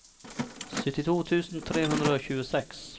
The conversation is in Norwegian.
syttito tusen tre hundre og tjueseks